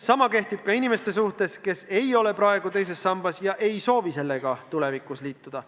Sama kehtib nende inimeste puhul, kes ei ole praegu teises sambas ega soovi sellega tulevikuski liituda.